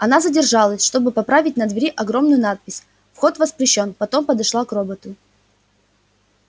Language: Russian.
она задержалась чтобы поправить на двери огромную надпись вход воспрещён потом подошла к роботу